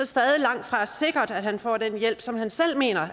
stadig langtfra sikkert at han får den hjælp som han selv mener